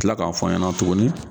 Kila k'a fɔ n ɲɛna tuguni